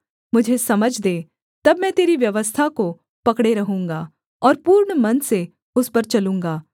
मुझे समझ दे तब मैं तेरी व्यवस्था को पकड़े रहूँगा और पूर्ण मन से उस पर चलूँगा